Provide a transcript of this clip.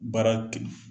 Baara